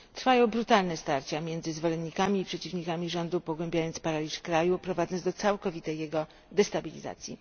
Trwają brutalne starcia między zwolennikami i przeciwnikami rządu, pogłębiając paraliż kraju i prowadząc do całkowitej jego destabilizacji.